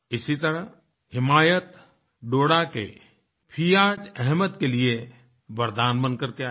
इसी तरह हिमायत डोडा के फियाज़ अहमद के लिए वरदान बन के आया